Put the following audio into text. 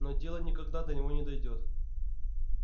но дело никогда до него не дойдёт